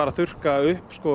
að þurrka upp sko